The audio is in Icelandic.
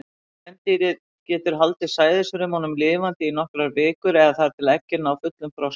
Kvendýrið getur haldið sæðisfrumunum lifandi í nokkrar vikur, eða þar til eggin ná fullum þroska.